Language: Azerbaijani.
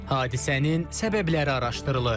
Hadisənin səbəbləri araşdırılır.